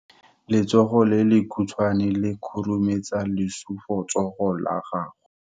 Letsogo le lekhutshwane le khurumetsa lesufutsogo la gago.